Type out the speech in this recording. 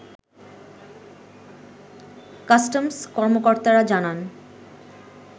customs কর্মকর্তারা জানান